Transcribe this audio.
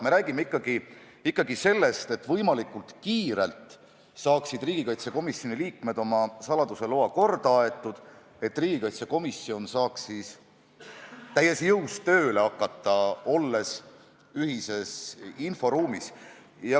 Me räägime ikkagi sellest, et riigikaitsekomisjoni liikmed saaksid võimalikult kiiresti oma saladuseloa korda aetud, nii et komisjon saaks siis täies jõus tööle hakata, olles ühises inforuumis.